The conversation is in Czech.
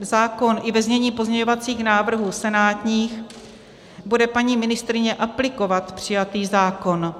zákon i ve znění pozměňovacích návrhů senátních, bude paní ministryně aplikovat přijatý zákon.